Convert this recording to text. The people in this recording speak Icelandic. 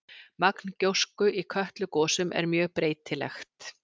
Magn gjósku í Kötlugosum er mjög breytilegt.